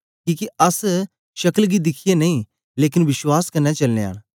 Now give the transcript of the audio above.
किके अस शक्ल गी दिखियै नेई लेकन विश्वास कन्ने चलनयां न